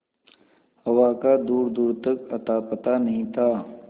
हवा का दूरदूर तक अतापता नहीं था